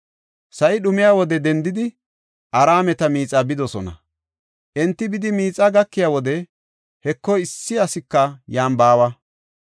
Sa7i dhumiya wode dendidi, Araameta miixaa bidosona. Enti bidi miixaa gakiya wode, Heko, issi asika yan baawa.